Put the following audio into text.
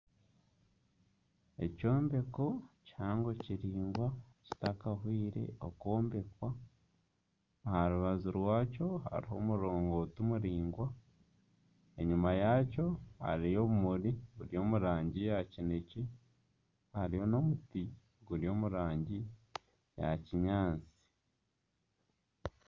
Ekyombeko kihango kiraingwa kitakahwire okwombekwa, aha rubaju rwakyo hariho omurongoti muraingwa, enyima yakyo hariyo obimuri buri omu rangi ya kinekye, hariyo n'omuti guri omu rangi ya kinyaatsi.